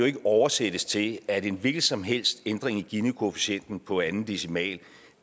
ikke oversættes til at en hvilken som helst ændring i ginikoefficienten på anden decimal